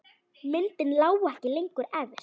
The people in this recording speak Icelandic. Myndin lá ekki lengur efst.